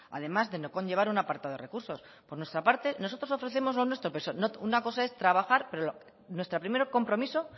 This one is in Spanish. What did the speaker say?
además de no conllevar a un apartado de recursos por nuestra parte nosotros ofrecemos lo nuestro pero una cosa es trabajar pero nuestro primer compromiso